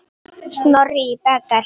Snorri í Betel.